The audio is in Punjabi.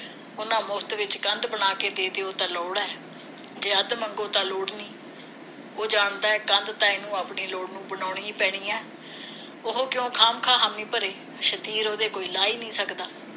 ਉਨ੍ਹਾਂ ਮੁਫਤ ਵਿਚ ਕੰਧ ਬਣਾ ਕੇ ਦੇ ਦਿਓ ਉਹ ਤਾ ਲੋੜ ਹੈ ਜੇ ਅੱਧ ਮੰਗੋ ਤਾਂ ਲੋੜ ਨਹੀਂ ਉਹ ਜਾਣਦਾ ਹੈ ਕੰਧ ਤਾਂ ਇਹਨੂੰ ਆਪਣੀ ਲੋੜ ਨੂੰ ਬਣਾਉਣੀ ਹੈ ਪੈਣੀ ਹੈ ਉਹ ਕਿਉ ਖਾ ਮ ਖਾ ਹਾਮੀ ਭਰੇ ਸ਼ਤੀਰ ਉਹਦੇ ਕੋਈ ਲਾ ਹੀ ਨਹੀ ਸਕਦਾ